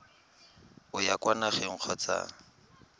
o ya kwa nageng kgotsa